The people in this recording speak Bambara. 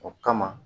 O kama